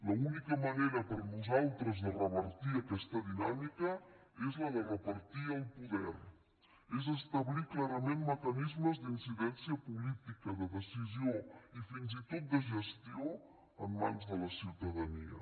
l’única manera per nosaltres de revertir aquesta dinàmica és la de repartir el poder és establir clarament mecanismes d’incidència política de decisió i fins i tot de gestió en mans de la ciutadania